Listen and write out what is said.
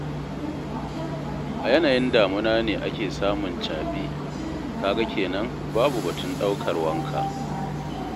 A yanayin damuna ne ake samun caɓi, ka ga kenan babu batun ɗaukar wanka.